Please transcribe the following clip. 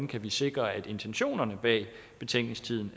kan sikre at intentionerne bag betænkningstiden